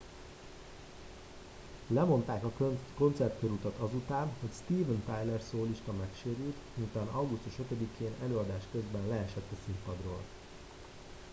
lemondák a koncertkörutat azután hogy steven tyler szólista megsérült miután augusztus 5 én előadás közben leesett a színpadról